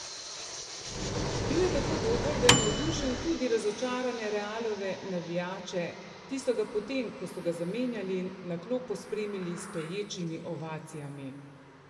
Bil je tako dober, da je navdušil tudi razočarane Realove navijače, ti so ga po tem, ko so ga zamenjali, na klop pospremili s stoječimi ovacijami.